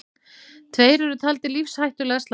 Tveir eru taldir lífshættulega slasaðir